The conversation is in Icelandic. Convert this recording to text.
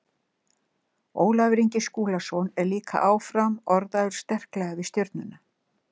Ólafur Ingi Skúlason er líka áfram orðaður sterklega við Stjörnuna.